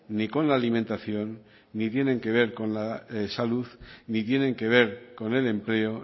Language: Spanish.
ni con la alimentación ni tienen que ver con la salud ni tienen que ver con el empleo